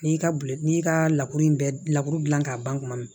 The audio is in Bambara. N'i ka bil n'i y'i ka lakuru in bɛɛ lakuru dilan k'a ban kuma min